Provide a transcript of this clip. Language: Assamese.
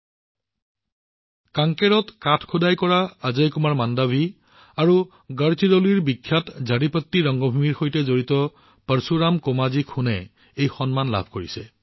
ইয়াৰ বাবে কাংকেৰত কাঠ খোদিত কৰা অজয় কুমাৰ মাণ্ডৱি আৰু গড়চিৰোলীৰ বিখ্যাত ঝাৰিপট্টি ৰংভূমিৰ সৈতে সম্পৰ্কিত পৰশুৰাম কোমাজী খুনেও এই সন্মান লাভ কৰিছে